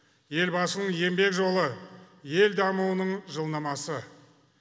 елбасының еңбек жолы ел дамуының жылнамасы